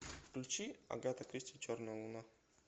включи агата кристи черная луна